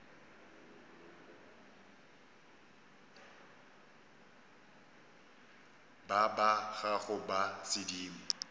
ba ba gago ba sedimo